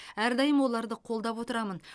әрдайым оларды қолдап отырамын